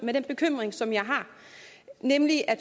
nemlig at